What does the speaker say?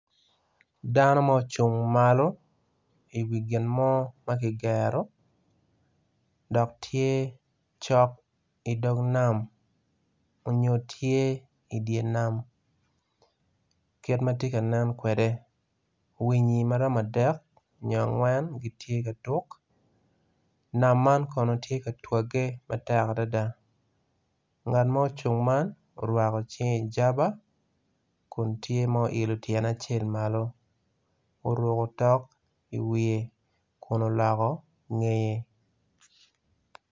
Dano ma ocung malo i wi ginmo makigero dok tye cok i dog nam onyo tye idye nam kit matye kanen kwede winyi maromo adek nyo angwen gitye katuk nam man kono tye ka twage matek adada ngat ma ocung man orwako cinge ijaba kun tye ma oyilo tyene acel malo oruko tok i wiye kun oloko ngeye.